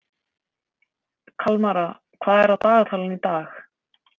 Kalmara, hvað er á dagatalinu í dag?